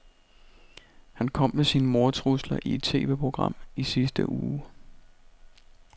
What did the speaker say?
Han kom med sine mordtrusler i et TVprogram i sidste uge.